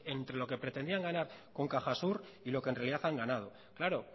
entre lo que pretendían ganar con cajasur y lo que en realidad han ganado claro